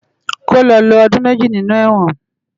Kó lò ló òdún mèjí ninú èwòn